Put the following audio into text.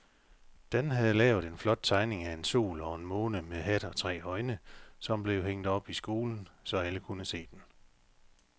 Dan havde lavet en flot tegning af en sol og en måne med hat og tre øjne, som blev hængt op i skolen, så alle kunne se den.